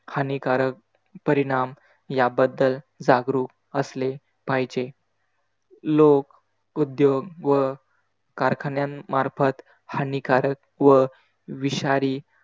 हानिकारक परिणाम याबद्दल जागरूक असले पाहिजे. लोक उद्योग व कारखान्यांमार्फत हानिकारक व विषारी,